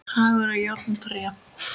Hagur á járn og tré.